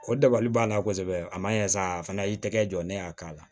O dabali b'a la kosɛbɛ a ma ɲɛ sa a fana y'i tɛgɛ jɔ ne y'a k'a la